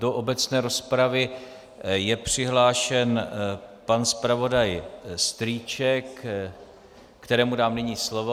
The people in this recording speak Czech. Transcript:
Do obecné rozpravy je přihlášen pan zpravodaj Strýček, kterému dám nyní slovo.